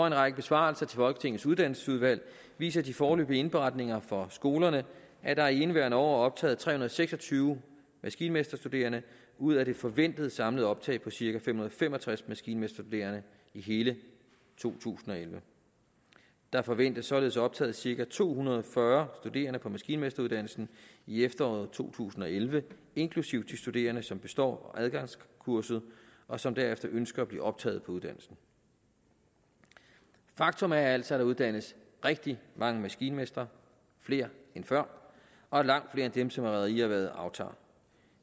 en række besvarelser til folketingets uddannelsesudvalg viser de foreløbige indberetninger fra skolerne at der i indeværende år er optaget tre hundrede og seks og tyve maskinmesterstuderende ud af det forventede samlede optag på cirka fem hundrede og fem og tres maskinmesterstuderende i hele to tusind og elleve der forventes således optaget cirka to hundrede og fyrre studerende på maskinmesteruddannelsen i efteråret to tusind og elleve inklusive de studerende som består adgangskurset og som derefter ønsker at blive optaget på uddannelsen faktum er altså at der uddannes rigtig mange maskinmestre flere end før og langt flere end dem som rederierhvervet aftager